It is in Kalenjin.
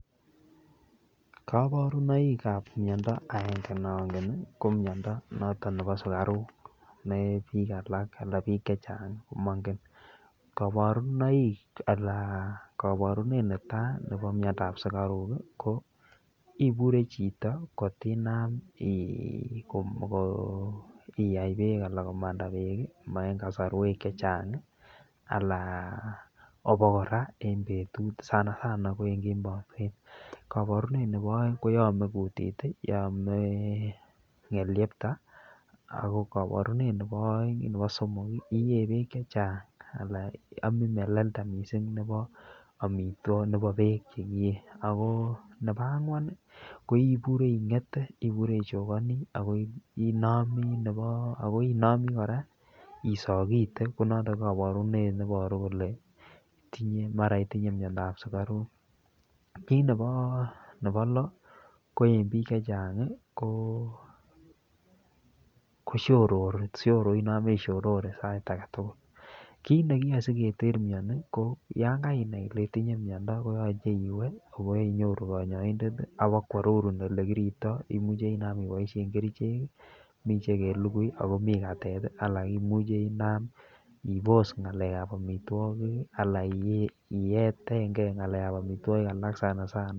Koborunoik ab miondo agengene ne ongen ko miondo noton nebo sugaruk, ne biik alak anan biik chechang komongen. Koborunoik anan koburenet netai nebo miondab sugaruk ko ibure chito kotinam iyai beek anan komanda beek koma en kasrwek chechang anan obokora en betut, sanasana ko en kemboi kwen. Koburenet nebo oeng koyame kutit anan yome ng'elyepta ago koborenet nebo somok iee beek che chang anan amin meleleda mising nebo beek che kiyee. Nebo ang'wan ibure ing'ete ibure ichokani. Ago inomi kora isogite. Ko noto koburenet ne iboru kole mara itinye miondab sugaruk. Kit nebo lo, ko en biik chechang ko shorori, inome ishorore sait age tugul. Kiit nekiyoe sigeter mioni, ko yan kainai ile itinye miondo, koyoche iwe boinyoru kanyoik ak ibakoarorun ole kiripto, imuche inam iboishen kerichek, mi che kelugui ago mi katet, ago imuche inam ibos ng'alekab amitwogik anan iyetengei ng'alekab amitwogik anan iyetengei ng'alekab amitwogik alak.